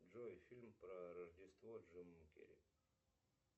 джой фильм про рождество с джимом керри